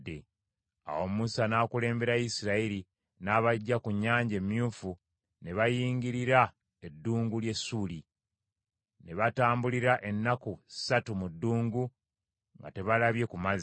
Awo Musa n’akulembera Isirayiri, n’abaggya ku Nnyanja Emyufu, ne bayingirira eddungu ly’e Ssuuli. Ne batambulira ennaku ssatu mu ddungu nga tebalabye ku mazzi.